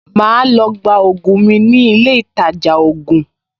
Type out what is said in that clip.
Màá lọ gba ògùn mi ní ilé ìtajà ògùn